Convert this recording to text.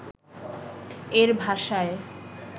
এর ভাষায়